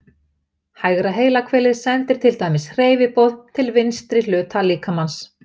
Hægra heilahvelið sendir til dæmis hreyfiboð til vinstri hluta líkamans.